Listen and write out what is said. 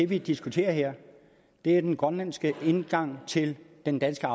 vi diskuterer her den grønlandske indgang til den danske